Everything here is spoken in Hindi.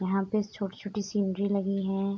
यहाँ पे छोटी-छोटी सिनरी लगी है।